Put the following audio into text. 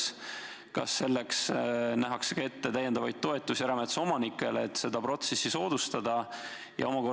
Kui on, siis kas selleks nähakse ka ette täiendavaid toetusi erametsaomanikele, et seda protsessi soodustada?